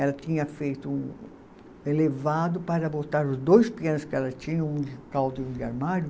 Ela tinha feito um elevado para botar os dois pianos que ela tinha, um de caldo e um de armário.